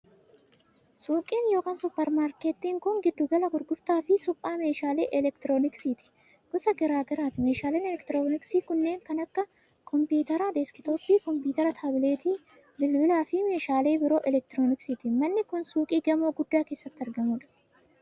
Suuqiin yookiin supparmaarkettiin kun, giddu gala gurgurtaa fi suphaa meeshaalee elektirooniksiiti gosa garaa garaati. Meeshaaleen elektirooniksii kunneen kan akka :kompiitara deeskitooppii, kompiitara taabileetii, bilbila fi meeshaalee biroo elektirooniksiiti. Manni kun, suuqii gamoo guddaa keessatti argamuu dha.